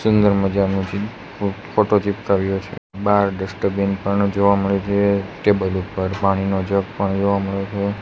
સુંદર મજાનુ ચી ફો ફોટો ચીપકાવ્યો છે બાર ડસ્ટીન પણ જોવા મડે છે ટેબલ ઉપર પાણીનો જગ પણ જોવા મડે છે.